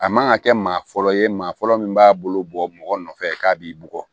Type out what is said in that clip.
A man ka kɛ maa fɔlɔ ye maa fɔlɔ min b'a bolo bɔ mɔgɔ nɔfɛ k'a b'i bugɔ